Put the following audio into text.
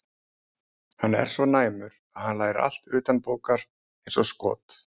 Hann er svo næmur að hann lærir allt utanbókar eins og skot.